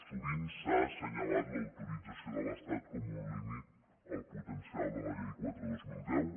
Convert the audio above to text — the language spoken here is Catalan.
sovint s’ha assenyalat l’autorització de l’estat com un límit al potencial de la llei quatre dos mil deu